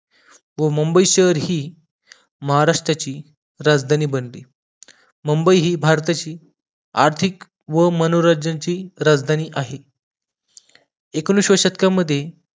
व मुंबई शहर हि महाराष्ट्राची राजधानी बनली मुंबई हि भारताची आर्थिक व मनोरंजनची राजधानी आहे एकोणिसाव्या शतकामध्ये